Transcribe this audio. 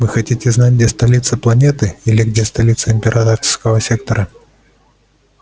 вы хотите знать где столица планеты или где столица императорского сектора